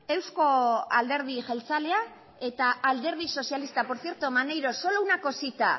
eusko alderdi jeltzalea eta alderdi sozialista por cierto maneiro solo una cosita